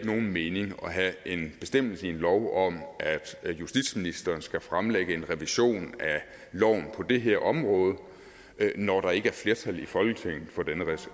nogen mening at have en bestemmelse i en lov om at justitsministeren skal fremlægge en revision af loven på det her område når der ikke er flertal i folketinget for denne